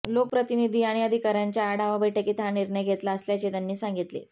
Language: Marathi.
लोकप्रतिनिधी आणि अधिकाऱ्यांच्या आढावा बैठकीत हा निर्णय घेतला असल्याचे त्यांनी सांगितले